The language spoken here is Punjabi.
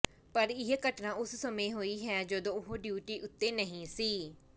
ਪਰ ਇਹ ਘਟਨਾ ਉਸ ਸਮੇਂ ਹੋਈ ਹੈ ਜਦੋਂ ਉਹ ਡਿਉਟੀ ਉਤੇ ਨਹੀਂ ਸੀ